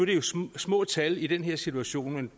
det jo små små tal i den her situation men